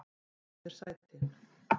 Fáðu þér sæti.